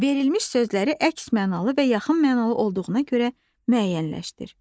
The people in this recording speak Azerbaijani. Verilmiş sözləri əks mənalı və yaxın mənalı olduğuna görə müəyyənləşdir.